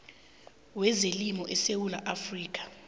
wezelimo esewula afrika